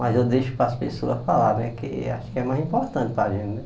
Mas eu deixo para as pessoas falar né, que acho que é mais importante para a gente, né?